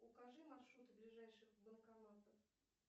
укажи маршруты ближайших банкоматов